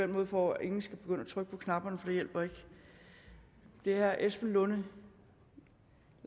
måde for at ingen skal begynde at trykke på knapperne for det hjælper ikke er esben lunde